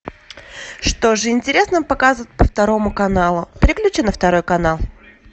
что же интересного показывают по второму каналу переключи на второй канал